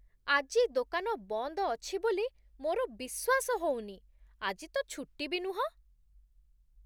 ଆଜି ଦୋକାନ ବନ୍ଦ ଅଛି ବୋଲି ମୋର ବିଶ୍ଵାସ ହଉନି! ଆଜି ତ ଛୁଟି ବି ନୁହଁ!